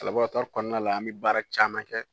kɔnɔna la an bɛ baara caman kɛ.